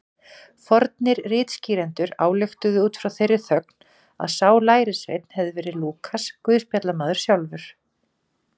Fornir ritskýrendur ályktuðu út frá þeirri þögn að sá lærisveinn hefði verið Lúkas guðspjallamaður sjálfur.